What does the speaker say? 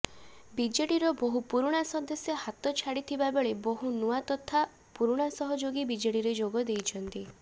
ବିଜେଡ଼ିର ବହୁ ପୁରୁଣା ସଦସ୍ୟ ହାତ ଛାଡ଼ିଥିବାବେଳେ ବହୁ ନୂଆ ତଥା ପୁରୁଣା ସହଯୋଗୀ ବିଜେଡ଼ିରେ ଯୋଗଦେଇଛନ୍ତି